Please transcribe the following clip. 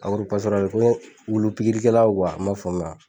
ko n ye wulu pikirikɛlaw i m'a faamu